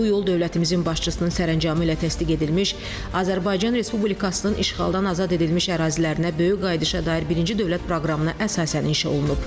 Bu yol dövlətimizin başçısının sərəncamı ilə təsdiq edilmiş Azərbaycan Respublikasının işğaldan azad edilmiş ərazilərinə böyük qayıdışa dair birinci dövlət proqramına əsasən inşa olunub.